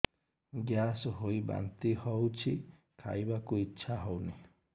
gas ହୋଇ ବାନ୍ତି ହଉଛି ଖାଇବାକୁ ଇଚ୍ଛା ହଉନି